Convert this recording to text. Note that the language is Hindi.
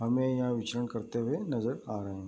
हमें यहाँ विछन करते हुए नज़र आ रहे हैं।